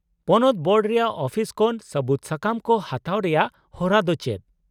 -ᱯᱚᱱᱚᱛ ᱵᱳᱨᱰ ᱨᱮᱭᱟᱜ ᱚᱯᱷᱤᱥ ᱠᱷᱚᱱ ᱥᱟᱹᱵᱩᱫᱥᱟᱠᱟᱢ ᱠᱚ ᱦᱟᱛᱟᱣ ᱨᱮᱭᱟᱜ ᱦᱚᱨᱟ ᱫᱚ ᱪᱮᱫ ?